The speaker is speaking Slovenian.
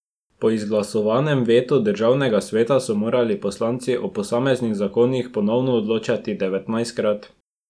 Po izglasovanem vetu državnega sveta so morali poslanci o posameznih zakonih ponovno odločati devetnajstkrat.